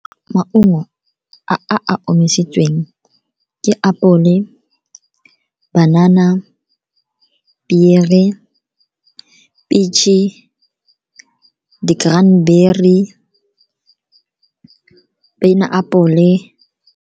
Maungo a a omisitsweng ke apole, banana, pere, peach-e, di-cranberry, peineapole.